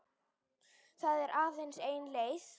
Það er aðeins ein leið